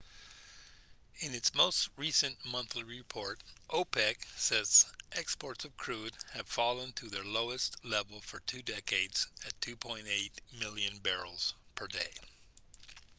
in its most recent monthly report opec said exports of crude had fallen to their lowest level for two decades at 2.8 million barrels per day